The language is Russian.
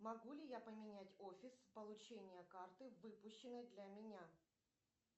могу ли я поменять офис получения карты выпущенной для меня